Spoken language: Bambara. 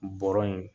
Bɔrɔ in